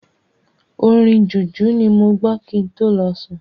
Orin Jùjú ni mo gbọ kin tó lọ sùn.